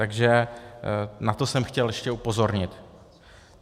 Takže na to jsem chtěl ještě upozornit.